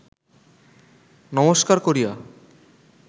নমস্কার করিয়া